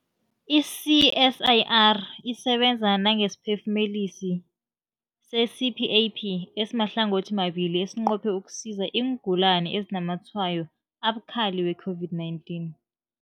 I-CSIR isebenza nangesiphefumulisi se-CPAP esimahlangothimabili esinqophe ukusiza iingulani ezinazamatshwayo abukhali we-COVID-19.